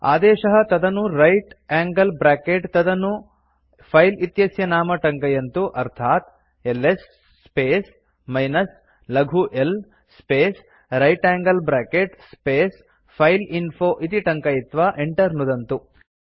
आदेशः तदनु right angle bracket तदनु फिले इत्यस्य नाम टङ्कयन्तु अर्थात् एलएस स्पेस् मिनस् लघु l space right angle bracket space file info इति टङ्कयित्वा enter नुदन्तु